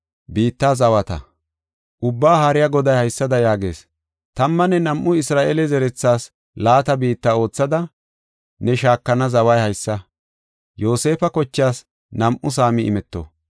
Ubbaa Haariya Goday haysada yaagees: “Tammanne nam7u Isra7eele zerethaas laata biitta oothada, ne shaakana zaway haysa. Yoosefa kochaas nam7u saami imeto.